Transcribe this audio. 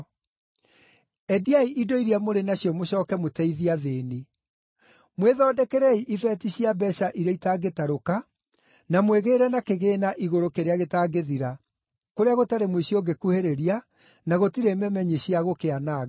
Endiai indo iria mũrĩ nacio mũcooke mũteithie athĩĩni. Mwĩthondekerei ibeeti cia mbeeca iria itangĩtarũka, na mwĩgĩĩre na kĩgĩĩna igũrũ kĩrĩa gĩtangĩthira, kũrĩa gũtarĩ mũici ũngĩkuhĩrĩria na gũtirĩ memenyi cia gũkĩananga